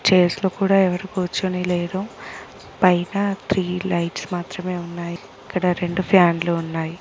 Chairs లో కూడా ఎవరు కూర్చొని లేరు పైగా త్రీ లైట్స్ మాత్రమే ఉన్నాయి ఇక్కడ రెండు ఫ్యాన్లు ఉన్నాయి.